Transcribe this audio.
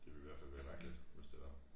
Det ville i hvert fald være mærkeligt hvis det var